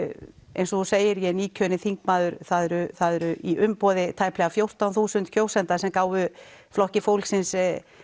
eins og þú segir er ég nýkjörinn þingmaður það eru það eru í umboði tæpra fjórtán þúsund kjósenda sem gáfu Flokki fólksins